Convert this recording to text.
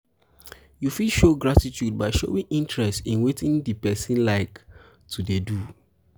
you fit show gratitude by showing interest in wetin di person like to dey do